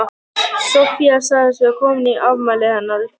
Soffía sagðist vera komin í afmælið hennar